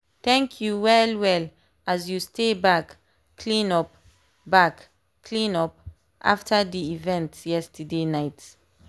thank you well well as you stay back clean up back clean up after dey event yesterday night.